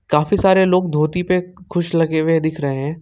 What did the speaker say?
काफी सारे लोग धोती पे खुश लगे हुए दिख रहे हैं।